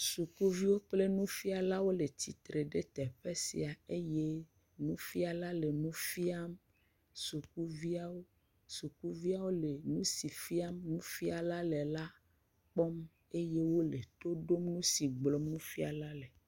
Ɖeviwo kple nufialawo le tsitre ɖe teƒe sia eye nufiala le nu fiam sukuviawo. Sukuviawo le nu si fiam nufiala le la kpɔm eye wo le to ɖom nu si gblɔ nufiala le.